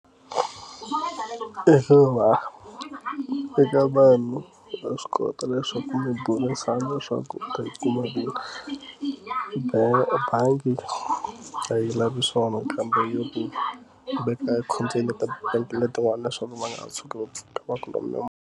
Ku hluva eka vanhu va swi kota leswaku mi burisana leswaku u ta yi kuma hi ku ba ebangi a yi lavi swona kambe yo ku veka container ta bank letin'wana leswaku ma nga tshuki va ku va ku lomba.